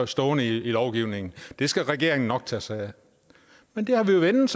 stående i lovgivningen det skal regeringen nok tage sig af men det har vi jo vænnet